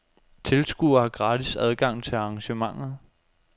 Tilskuere har gratis adgang til arrangementet.